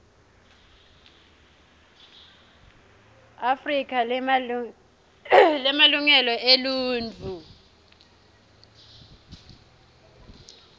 afrika lemalungelo eluntfu